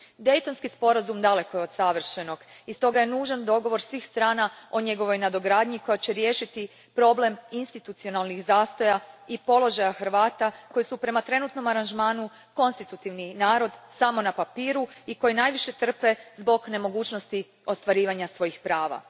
Daytonski sporazum daleko je od savršenog i stoga je nužan dogovor svih strana o njegovoj nadogradnji koja će riješiti problem institucionalnih zastoja i položaja Hrvata koji su prema trenutnom aranžmanu konstitutivni narod samo na papiru i koji najviše trpe zbog nemogućnosti ostvarivanja svojih prava.